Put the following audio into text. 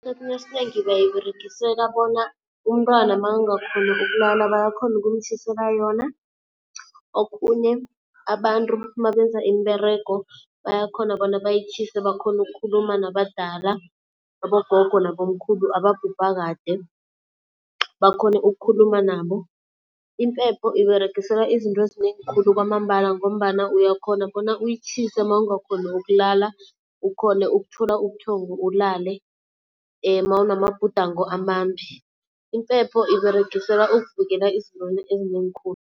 Esikhathini esinengi bayiberegiseka bona umntwana makangakhoni ukulala bayakhona ukumtjhisela yona. Okhunye abantu mabenza imiberego bayakhona bona bayitjhise bakhone ukukhuluma nabadala, abogogo nabomkhulu ababhubha kade bakhone ukukhuluma nabo. Impepho iberegiselwa izinto ezinengi khulu kwamambala ngombana uyakhona bona uyitjhise mawungakhoni ukulala, ukhone ukuthola ubuthongo ulale, mawunamabhudango amambi. Impepho iberegiselwa ukuvikela ezintweni ezinengi khulu.